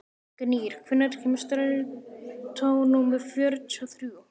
Gnýr, hvenær kemur strætó númer fjörutíu og þrjú?